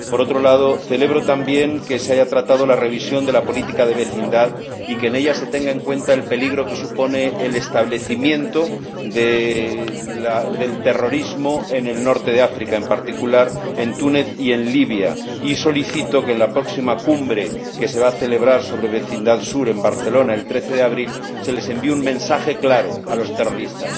Por otro lado, celebro también que se haya tratado la revisión de la Política Europea de Vecindad y que en ella se tenga en cuenta el peligro que supone el establecimiento del terrorismo en el norte de África, en particular en Túnez y en Libia, y solicito que en la próxima Cumbre que se va a celebrar sobre Vecindad Sur en Barcelona el 13 de abril se les envíe un mensaje claro a los terroristas